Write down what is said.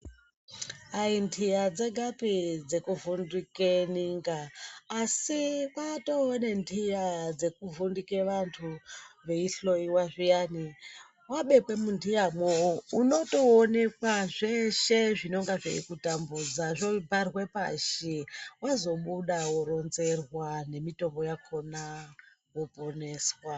Aintiya dzegapi dzekuvhundike ninga asi kwatoonentiya dzekuvhundike vantu veihloiwa zviyani, wabekwe muntiya mwo unotoonekwa zveshe zvinonga zveikutambudza zvobharwa pashi zvazobuda woronzerwa mitombo yakhona woponeswa.